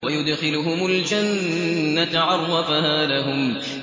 وَيُدْخِلُهُمُ الْجَنَّةَ عَرَّفَهَا لَهُمْ